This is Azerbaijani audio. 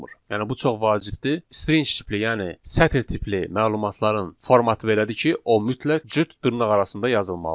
Yəni bu çox vacibdir, string tipli, yəni sətr tipli məlumatların formatı belədir ki, o mütləq cüt dırnaq arasında yazılmalıdır.